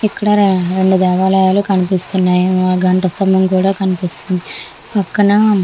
ఇక్కడ రెండు దేవాలయాలు కనిపిస్తున్నాయ్ గంట స్తంభం కూడా కనిపిస్తుంది పక్కన.